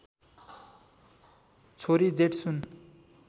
छोरी जेट्सुन